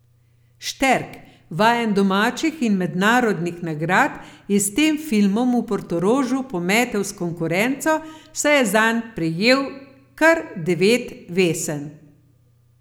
Šterk, vajen domačih in mednarodnih nagrad, je s tem filmom v Portorožu pometel s konkurenco, saj je zanj prejel kar devet vesen.